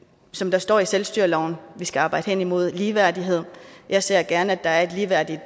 som der står i selvstyreloven skal arbejde hen imod ligeværdighed jeg ser gerne at der er et ligeværdigt